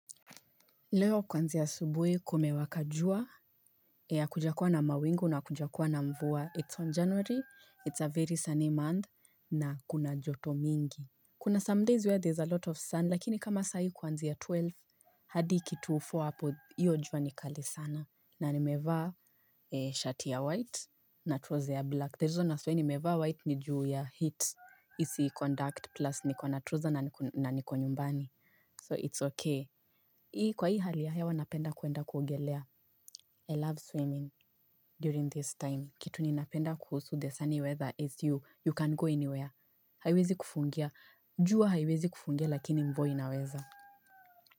Leo kuanzia asubuhi kumewaka jua hakujakuwa na mawingu na hakuja kuwa na mvua it's on january it's a very sunny month na kuna joto mingi kuna some days where there's a lot of sun lakini kama sahii kwanzi ya twelve hadi kitu four hapo hiyo jua ni kali sana na nimevaa shati ya white na trouser ya black reason as why ni nimevaa white ni juu ya heat isi conduct plus niko na na trouser na niko nyumbani So it's okay. Hii kwa hii hali ya hewa napenda kwenda kuogelea I love swimming During this time, kitu ninapenda kuhusu the sunny weather as you, you can go anywhere. Haiwezi kufungia, jua haiwezi kufungia lakini mvua inaweza.